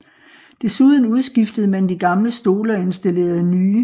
Desuden udskiftede man de gamle stole og installerede nye